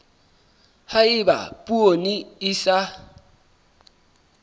ha eba poone e sa